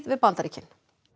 við Bandaríkin